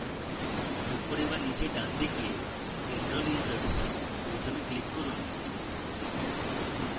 উপরে বা নীচে ডানদিকে enrol users বোতামে click করুন